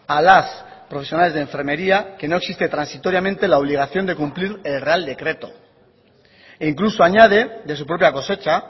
a las profesionales de enfermería que no existe transitoriamente la obligación de cumplir el real decreto e incluso añade de su propia cosecha